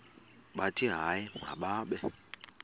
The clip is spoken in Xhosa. bathi hayi mababe